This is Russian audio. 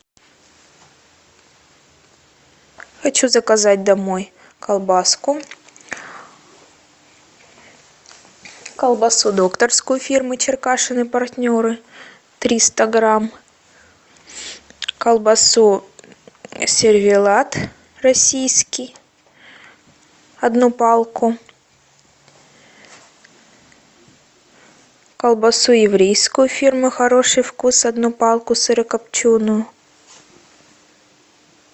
хочу заказать домой колбаску колбасу докторскую фирмы черкашин и партнеры триста грамм колбасу сервелат российский одну палку колбасу еврейскую фирмы хороший вкус одну палку сырокопченую